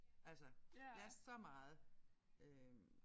Altså jeg så meget øh